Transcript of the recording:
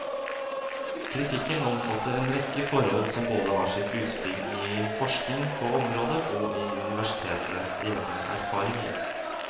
Kritikken omfatter en rekke forhold som både har sitt utspring i forskning på området og i universitetenes egne erfaringer.